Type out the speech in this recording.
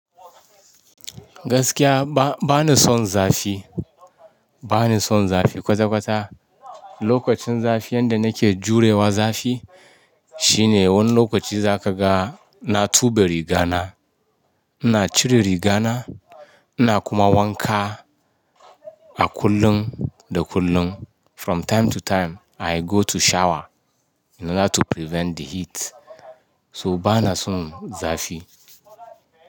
Gaskiya ba, bani son zafi. Bani son zafi kwata-kwata. Lokacin zafi yanda nake jurewa zafi shine wani lokaci za ka ga na tube rigana, ina cire rigana, ina kuma wanka a kullun da kullun. From time to time I go to shower in order to prevent the heat. To bana son zafi.